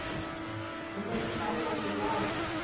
zinto siluma silahla